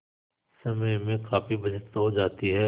समय में काफी बचत हो जाती है